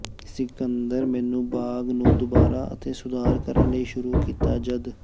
ਸਿਕੰਦਰ ਮੈਨੂੰ ਬਾਗ ਨੂੰ ਦੁਬਾਰਾ ਅਤੇ ਸੁਧਾਰ ਕਰਨ ਲਈ ਸ਼ੁਰੂ ਕੀਤਾ ਜਦ